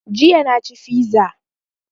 Jiya na ci fiza